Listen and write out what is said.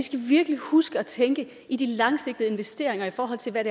virkelig skal huske at tænke i de langsigtede investeringer i forhold til hvad